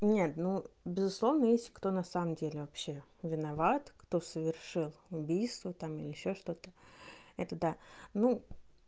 нет ну безусловно есть кто на самом деле вообще виноват кто совершил убийство там или ещё что-то это да ну